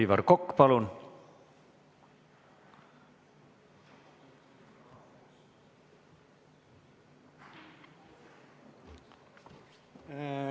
Aivar Kokk, palun!